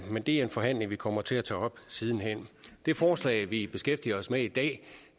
men det er en forhandling vi kommer til at tage op siden hen det forslag vi beskæftiger os med i dag